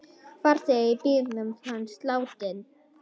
Farþegi í bílnum fannst látinn.